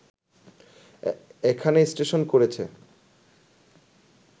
এখানে স্টেশন করেছে